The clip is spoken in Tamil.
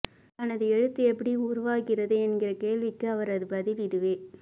தனது எழுத்து எப்படி உருவாகிறது என்கிற கேள்விக்கு அவரது பதில் இதுவே